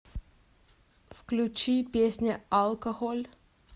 включи песня алкохоль